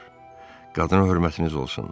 Cənablar, qadına hörmətiniz olsun!